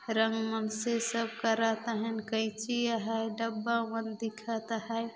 रंग-वंग से सब करत अहय कैची अहय डब्बा मन दिखत अहय।